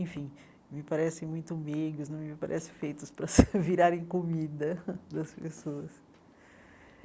Enfim, me parecem muito meigos, não me parecem feitos para virarem comida das pessoas.